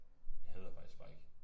Jeg hader faktisk spike